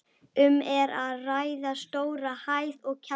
Um er að ræða stóra hæð og kjallara.